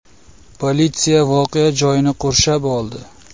Politsiya voqea joyini qurshab oldi.